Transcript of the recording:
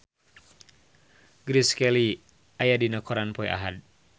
Grace Kelly aya dina koran poe Ahad